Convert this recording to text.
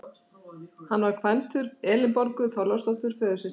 Hann var kvæntur Elínborgu Þorláksdóttur, föðursystur minni.